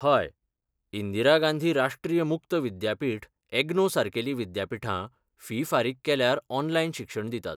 हय, इंदिरा गांधी राष्ट्रीय मुक्त विद्यापीठ, एग्नो सारकेलीं विद्यापीठां फी फारीक केल्यार ऑनलायन शिक्षण दितात.